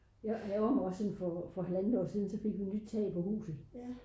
jeg ærgrer mig også sådan for her for halvandet år siden der fik vi nyt tag på huset